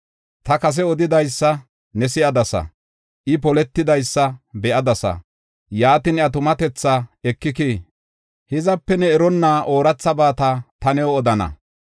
“Ta kase odidaysa ne si7adasa; I poletidaysa be7adasa, yaatin iya tumatethaa ekikii? Hizape ne eronna oorathabata ta new odana.